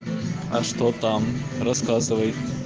а что там рассказывай